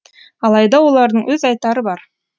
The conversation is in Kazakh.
алайда олардың өз айтары бар